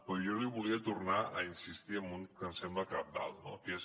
però jo li volia tornar a insistir en un que em sembla cabdal que és